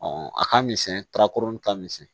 a ka misɛn ka kurun ka misɛn